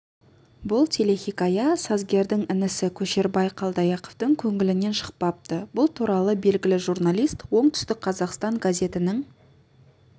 бұл телехикая сазгердің інісі көшербай қалдаяқовтың көңілінен шықпапты бұл туралы белгілі журналист оңтүстік қазақстан газетінің